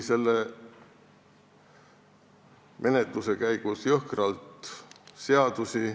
Selle menetluse käigus rikuti jõhkralt seadusi.